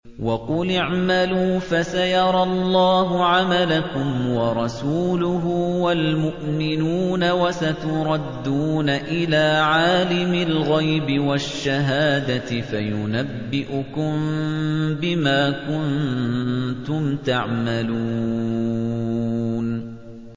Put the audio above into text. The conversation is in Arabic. وَقُلِ اعْمَلُوا فَسَيَرَى اللَّهُ عَمَلَكُمْ وَرَسُولُهُ وَالْمُؤْمِنُونَ ۖ وَسَتُرَدُّونَ إِلَىٰ عَالِمِ الْغَيْبِ وَالشَّهَادَةِ فَيُنَبِّئُكُم بِمَا كُنتُمْ تَعْمَلُونَ